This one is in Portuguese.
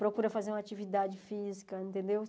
Procuram fazer uma atividade física, entendeu?